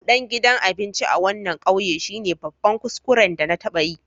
Budan gidan abinci a wanan ƙauye shine babban kuskuren da na taba yi.